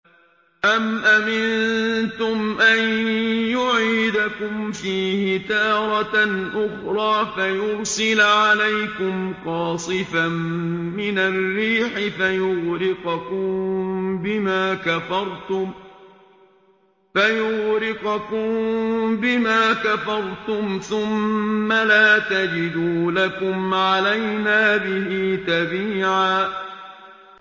أَمْ أَمِنتُمْ أَن يُعِيدَكُمْ فِيهِ تَارَةً أُخْرَىٰ فَيُرْسِلَ عَلَيْكُمْ قَاصِفًا مِّنَ الرِّيحِ فَيُغْرِقَكُم بِمَا كَفَرْتُمْ ۙ ثُمَّ لَا تَجِدُوا لَكُمْ عَلَيْنَا بِهِ تَبِيعًا